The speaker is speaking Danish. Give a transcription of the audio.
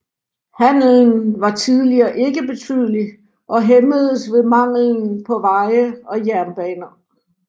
Handelen var tidligere ikke betydelig og hæmmedes ved manglen på veje og jernbaner